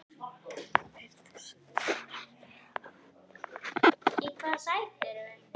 Fyrir þesskonar handarvik